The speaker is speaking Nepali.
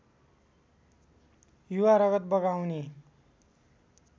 युवा रगत बगाउने